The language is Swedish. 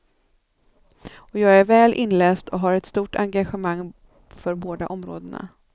Och jag är väl inläst och har ett stort engagemang för båda områdena.